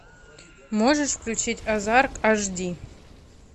можешь включить азарт аш ди